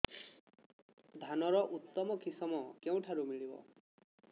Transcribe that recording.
ଧାନର ଉତ୍ତମ କିଶମ କେଉଁଠାରୁ ମିଳିବ